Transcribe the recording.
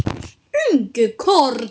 Ingi Karl.